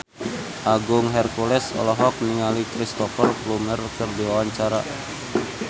Agung Hercules olohok ningali Cristhoper Plumer keur diwawancara